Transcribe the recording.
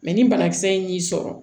Mɛ ni banakisɛ in y'i sɔrɔ